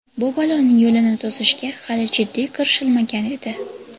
Bu baloning yo‘lini to‘sishga hali jiddiy kirishilmagan edi.